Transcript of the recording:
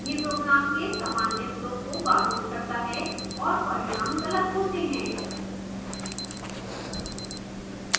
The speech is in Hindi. यह program के सामान्य flow को बाधित करता है और परिणाम गलत होते हैं